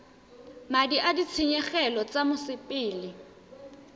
madi a ditshenyegelo tsa mosepele